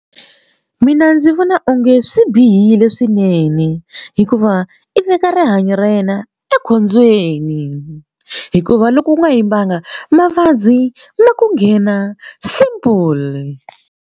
Mina ndzi vona onge swi bihile swinene hikuva i veka rihanyo ra yena ekhombyeni hikuva loko u nga yimbanga mavabyi ma ku nghena simple.